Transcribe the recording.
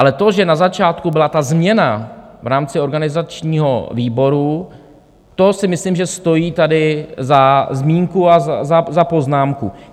Ale to, že na začátku byla ta změna v rámci organizačního výboru, to si myslím, že stojí tady za zmínku a za poznámku.